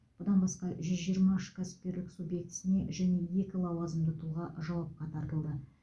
бұдан басқа жүз жиырма үш кәсіпкерлік субъектісіне және екі лауазымды тұлға жауапқа тартылды